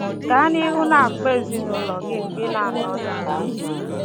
Gaa n'ihu na-akpọ ezinụụlọ gị mgbe ị na-anọghị ya.